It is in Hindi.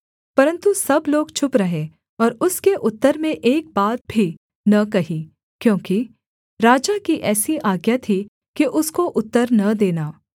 परन्तु सब लोग चुप रहे और उसके उत्तर में एक बात भी न कही क्योंकि राजा की ऐसी आज्ञा थी कि उसको उत्तर न देना